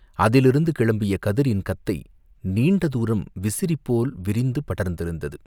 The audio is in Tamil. அதிலிருந்து கிளம்பிய கதிரின் கத்தை நீண்டதூரம் விசிறி போல் விரிந்து படர்ந்திருந்தது.